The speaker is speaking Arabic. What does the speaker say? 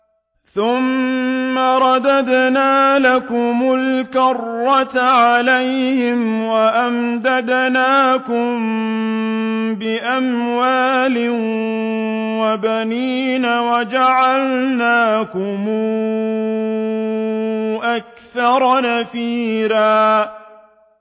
ثُمَّ رَدَدْنَا لَكُمُ الْكَرَّةَ عَلَيْهِمْ وَأَمْدَدْنَاكُم بِأَمْوَالٍ وَبَنِينَ وَجَعَلْنَاكُمْ أَكْثَرَ نَفِيرًا